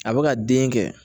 A bɛ ka den kɛ